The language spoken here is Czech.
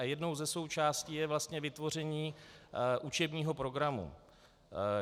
A jednou ze součástí je vlastně vytvoření učebního programu.